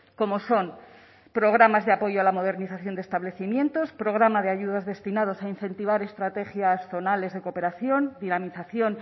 como son programas de apoyo a la modernización de establecimientos programa de ayudas destinados a incentivar estrategias zonales de cooperación dinamización